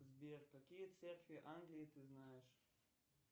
сбер какие церкви англии ты знаешь